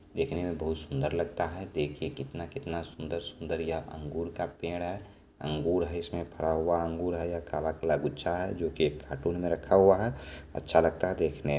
देखने में बहुत सुंदर लगता है देखिए कितना-कितना सुंदर-सुंदर यहाँ अंगूर का पेड़ है अंगूर है इसमें भरा हुआ अंगूर है काला-काला गुच्छा है जोकि एक कार्टून में रखा हुआ है अच्छा लगता है देखने में।